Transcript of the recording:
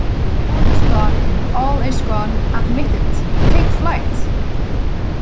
All is gone, all is gone, admit it, take flight.